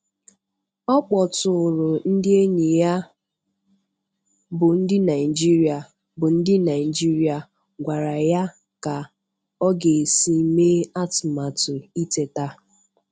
Ọ kpọtụụrụ ndị enyi ya bụ ndị Naijiria bụ ndị Naijiria gwara ya ka ọ ga-esi mee atụmatụ iteta.